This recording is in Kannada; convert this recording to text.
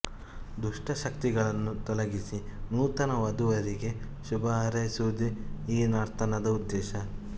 ದುಷ್ಟಶಕ್ತಿಗಳನ್ನು ತೊಲಗಿಸಿ ನೂತನ ವಧುವರರಿಗೆ ಶುಭಹಾರೈಸುವುದೇ ಈ ನರ್ತನದ ಉದ್ದೇಶ